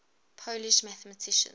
polish mathematicians